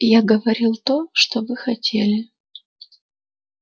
я говорил то что вы хотели